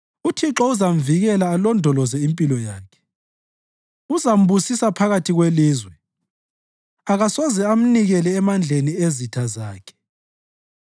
UThixo uzamvikela alondoloze impilo yakhe; uzambusisa phakathi kwelizwe akasoze amnikele emandleni ezitha zakhe.